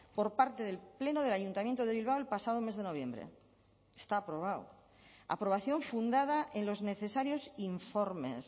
por parte del pleno del ayuntamiento de bilbao el pasado mes de noviembre está aprobado aprobación fundada en los necesarios informes